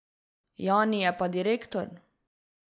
Jani je pa direktor!